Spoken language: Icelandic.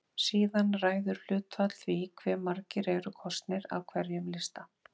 Síðan ræður hlutfall því hve margir eru kosnir af hverjum lista.